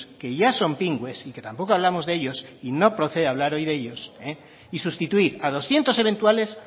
que ya son pingües y que tampoco hablamos de ellos y no procede hoy hablar de ellos y sustituir a doscientos eventuales